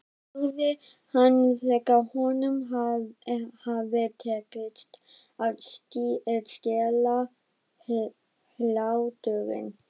spurði hann þegar honum hafði tekist að stilla hláturinn.